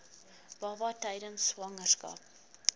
baba tydens swangerskap